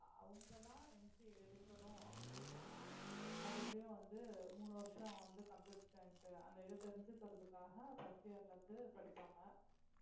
அவங்கதான் MCA எடுக்கணும் அப்படின்னு சொன்னா மறுபடியும் வந்து மூணு வருஷம் வந்து computer science அந்த இதை தெரிஞ்சுக்கிறதுக்காக first year ல இருந்து படிப்பாங்க